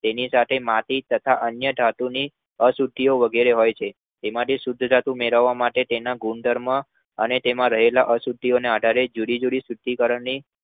તેની સાથે માટી તથા અન્ય ધાતુની અશુદ્ધિઓ વગેરે હોય છે. તેમાંથી શુદ્ધ ધાતુ મેળવવા માટે તેના ગુણધર્મો અને તેમાં રહેલ અશુદ્ઘિઓને આધારે જુદી-જુદી શુદ્ધીકરણની